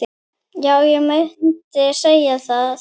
Já, ég myndi segja það.